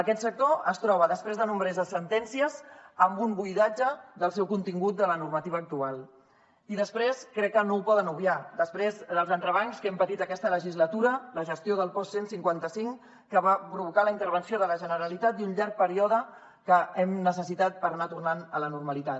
aquest sector es troba després de nombroses sentències amb un buidatge del seu contingut de la normativa actual i després crec que no ho poden obviar dels entrebancs que hem patit aquesta legislatura la gestió del post cent i cinquanta cinc que va provocar la intervenció de la generalitat i un llarg període que hem necessitat per anar tornant a la normalitat